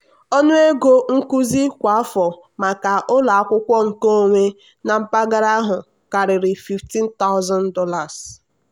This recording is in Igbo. ọnụ ego nkuzi kwa afọ maka ụlọ akwụkwọ nkeonwe na mpaghara ahụ karịrị $15000.